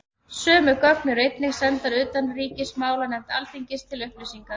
Sömu gögn eru einnig sendar utanríkismálanefnd Alþingis til upplýsingar.